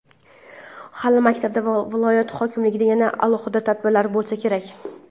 Hali maktabida va viloyat hokimligida yana alohida tadbirlar bo‘lsa kerak.